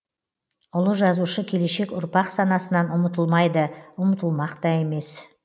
ұлы жазушы келешек ұрпақ санасынан ұмытылмайды ұмытылмақ та емес